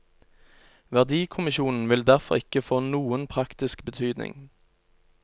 Verdikommisjonen vil derfor ikke få noen praktisk betydning.